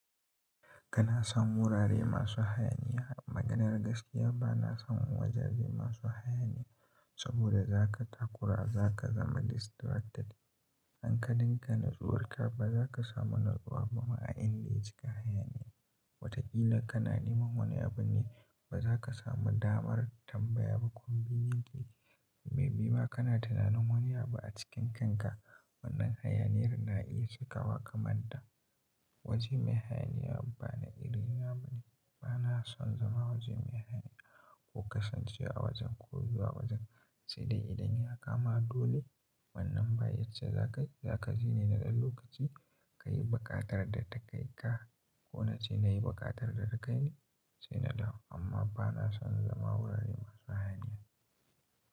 Kana son wurare masu hayaniya. Maganar gaskiya ba na son wajaje masu hayaniya saboda za ka takura, za ka zama distracted. In ka dinga natsuwa ka ba za ka samu natsuwa ba ma a inda ya cika hayaniya. Wataƙila kana neman wani abu ne ba za ka samu damar tambaya ba. Kuna bibe ne, mai bi ba kana tunanin wane abu a cikin kanka. Wannan hayaniyar na iya cika wa kamanda. Waje mai hayaniya ba na iri na bane. Ba na son zama waje mai hayaniya ko kasancewa a wajen ko zuwa wajen sai dai idan ya kama dole. Wannan bayyace za ka, za ka zine na ɗan lokaci ka yi buƙatar da ta kai ka. Ko na ce na yi buƙatar da ta kai ni, sai na dawo. Amma ba na son zama wurare masu hayaniya.